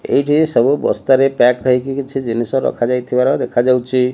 ଏଇଠି ସବୁ ବସ୍ତାରେ ପ୍ୟାକ୍ ହେଇକି କିଛି ଜିନିଷ ରଖାଯାଇଥିବାର ଦେଖାଯାଉଚି।